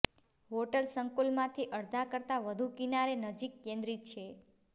hotel સંકુલમાંથી અડધા કરતાં વધુ કિનારે નજીક કેન્દ્રિત છે